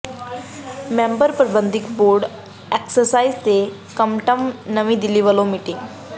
member ਪ੍ਰਬੰਧਕੀ board excise ਤੇ custom ਨਵੀਂ ਦਿੱਲੀ ਵਲੋਂ ਮੀਟਿੰਗ